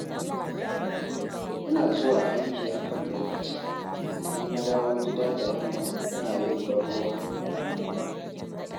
Ina zuwa aiki akan lokaci, in na dawo gida da yamma ina yin ban-ruwa a lambu.